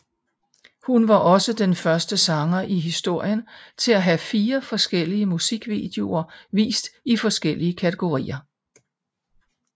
Hun var også den første sanger i historien til at have fire forskellige musikvideoer vist i forskellige kategorier